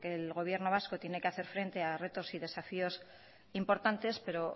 el gobierno vasco tiene que hacer frente a rentos y desafíos importantes pero